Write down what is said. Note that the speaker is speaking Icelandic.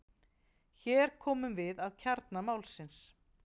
Hér komum við að kjarna málsins.